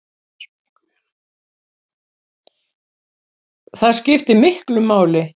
Það skiptir miklu máli